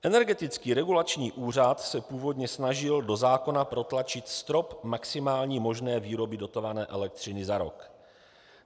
Energetický regulační úřad se původně snažil do zákona protlačit strop maximální možné výroby dotované elektřiny za rok.